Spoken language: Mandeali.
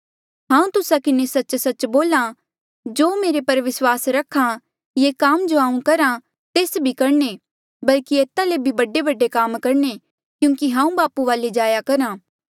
हांऊँ तुस्सा किन्हें सच्च सच्च बोल्हा जो मेरे पर विस्वास रख्हा ये काम जो हांऊँ करहा तेस बी करणे बल्कि एता ले बी बडेबडे काम करणे क्यूंकि हांऊँ बापू वाले जाया करहा